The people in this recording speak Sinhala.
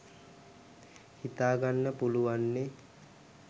හිතාගන්න පුලුවන්නෙ